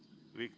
Jaa, ma tänan!